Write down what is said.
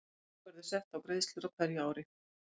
Þak verður sett á greiðslur á hverju ári.